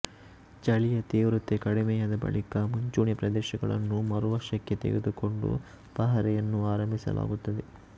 ಚಳಿಯ ತೀವ್ರತೆ ಕಡಿಮೆಯಾದ ಬಳಿಕ ಮುಂಚೂಣಿ ಪ್ರದೇಶಗಳನ್ನು ಮರುವಶಕ್ಕೆ ತೆಗೆದುಕೊಂಡು ಪಹರೆಯನ್ನು ಆರಂಭಿಸಲಾಗುತ್ತದೆ